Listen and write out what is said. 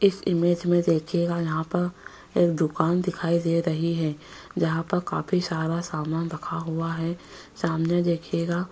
इस इमेज में देखिएगा यहाँ पर एक दुकान दिखाई दे रही है जहाँ पर काफी सारा सामान रखा हुआ है सामने देखिएंगा --